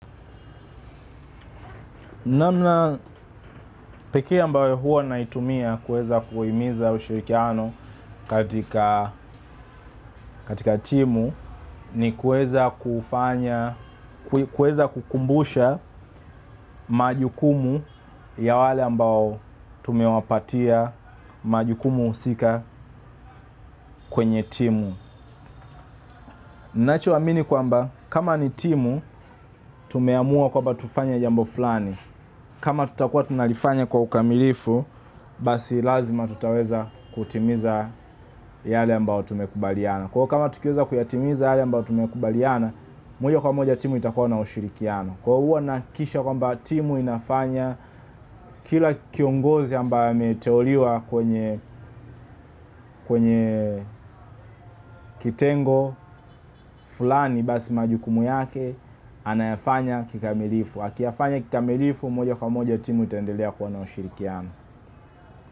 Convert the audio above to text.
Namna pekee ambayo huwa naitumia kuweza kuhimiza ushirikiano katika timu ni kuweza kukumbusha majukumu ya wale ambao tumewapatia majukumu husika kwenye timu. Ninacho amini kwamba kama ni timu, tumeamua kwamba tufanye jambo fulani. Kama tutakua tunalifanya kwa ukamilifu, basi lazima tutaweza kutimiza yale ambao tumekubaliana. Kwahivo kama tukieza kuyatimiza yale ambao tumekubaliana, moja kwa moja timu itakuwa na ushirikiano. Kwa huwa nahakikisha kwamba timu inafanya kila kiongozi ambaye ameteuliwa kwenye kitengo, fulani basi majukumu yake, anayafanya kikamilifu. Akiyafanya kikamilifu, moja kwa moja timu itaendelea kuwa na ushirikiano.